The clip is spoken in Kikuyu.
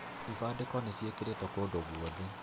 Ibandĩko nĩcĩĩkĩrĩtwo kũndũ gũothe